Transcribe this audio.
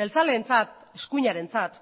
jeltzaleentzat eskuinarentzat